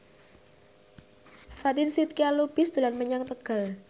Fatin Shidqia Lubis dolan menyang Tegal